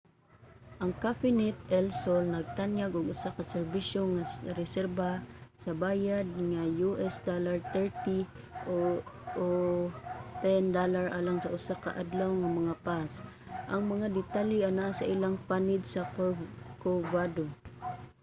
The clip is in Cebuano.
ang cafenet el sol nagtanyag og usa ka serbisyo nga reserba sa bayad nga us$30 o $10 alang sa usa ka adlaw nga mga pass; ang mga detalye anaa sa ilang panid sa corcovado